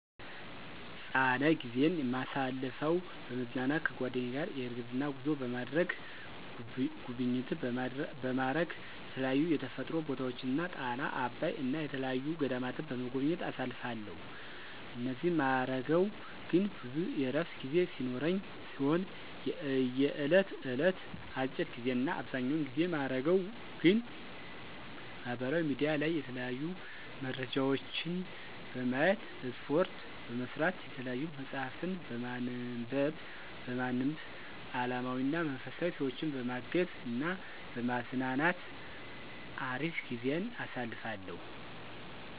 ፃነ ጊዜይን ማሳልፈው፦ በመዝናናት ከጓደኛ ጋር የእግር ጉዞ በማድረግ፣ ጉብኝት በማረግ የተለያዩ የተፈጥሮ ቦታወችን ጣና፣ አባይ እና የተየያዩ ገዳማትን በመጎብኘት አሳልፋለሁ እኒህን ማረገው ግን ብዙ የእረፍት ጊዜ ሲኖረኝ ሲሆን የእየለት እለት አጭር ጊዜ እና አብዘኛውን ጊዜ ማረገው ግን ማህበራዊ ሚዲያ ላይ የተለያዩ መረጃወችን በማየት፣ እስፓርት በመስራት፣ የተያዩ መፅሀፍትን በማንብ አለማዊና መንፈሳዊ፣ ሰወችን በማገዝ እና በማዝናናት አሪፍ ጊዜን አሳልፋለሁ።